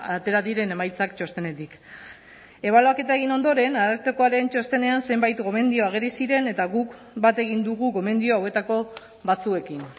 atera diren emaitzak txostenetik ebaluaketa egin ondoren arartekoaren txostenean zenbait gomendio ageri ziren eta guk bat egin dugu gomendio hauetako batzuekin